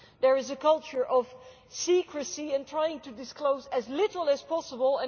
There is a culture of secrecy and trying to disclose as little as possible.